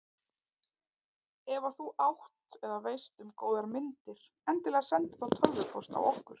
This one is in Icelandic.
Ef að þú átt eða veist um góðar myndir endilega sendu þá tölvupóst á okkur.